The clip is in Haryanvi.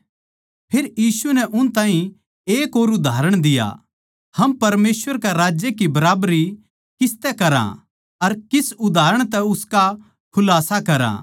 फेर यीशु नै उनतै एक और उदाहरण दिया हम परमेसवर राज्य की बराबरी किसतै करया अर किस उदाहरण तै उसका खुलास्सा करया